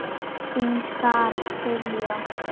Þín Sara Diljá.